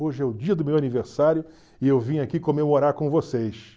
Hoje é o dia do meu aniversário e eu vim aqui comemorar com vocês.